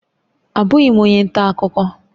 Abụghị m onye nta akụkọ